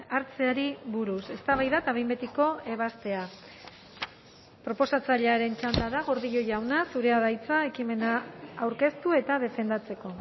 hartzeari buruz eztabaida eta behin betiko ebazpena proposatzailearen txanda da gordillo jauna zurea da hitza ekimena aurkeztu eta defendatzeko